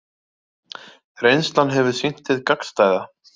Reynslan hefur sýnt hið gagnstæða